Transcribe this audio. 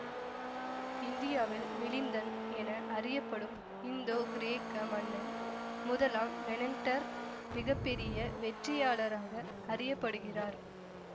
இந்தியாவில் மிலிந்தன் என அறியப்படும் இந்தோகிரேக்க மன்னன் முதலாம் மெனண்டர் மிக பெறிய வெற்றியாளராக அறிய படுகிறார்